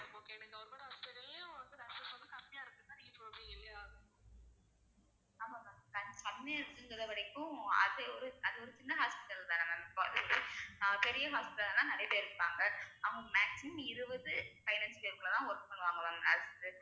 ஆமா ma'am கம்~ கம்மியா இருக்குங்கற வரைக்கும் அது ஒரு அது ஒரு சின்ன hospital தானே ma'am இப்போ பெரிய hospital னா நிறைய பேர் இருப்பாங்க அவங்க maximum இருபது பதினைந்து பேருக்குள்ள தான் work பண்ணுவாங்க ma'am அதுக்~